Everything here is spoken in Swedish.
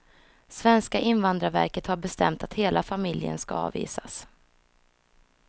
Svenska invandrarverket har bestämt att hela familjen ska avvisas.